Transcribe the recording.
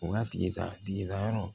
U ka tigita tigitayɔrɔ